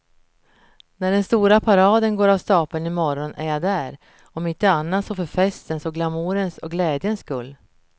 När den stora paraden går av stapeln i morgon är jag där, om inte annat så för festens och glamourens och glädjens skull.